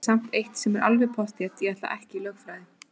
Það er samt eitt sem er alveg pottþétt: Ég ætla ekki í lögfræði!